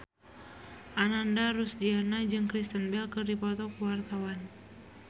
Ananda Rusdiana jeung Kristen Bell keur dipoto ku wartawan